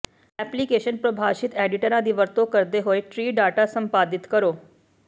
application ਪਰਿਭਾਸ਼ਿਤ ਐਡੀਟਰਾਂ ਦੀ ਵਰਤੋਂ ਕਰਦੇ ਹੋਏ ਟ੍ਰੀ ਡਾਟਾ ਸੰਪਾਦਿਤ ਕਰੋ